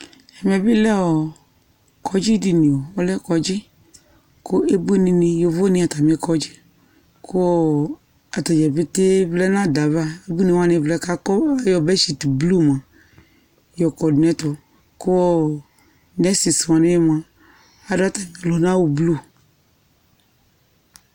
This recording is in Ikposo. Ɛmɛ bɩ lɛ ɔɔ kɔdzɩ dini mʋa, ɔlɛ kɔdzɩ kʋ ebuini, yovoni atamɩ kɔdzɩ kʋ ɔɔ atadzaa peetee vlɛ n'ada yɛ ava, eʋuini wani vlɛ k'akɔ ayɔ bedshit dɩ blu mua yɔkɔ dʋ n'ɛtʋ, kʋɔɔ nurses wanɩ bɩ mua adʋ atamɩ ɔlʋnawʋ blu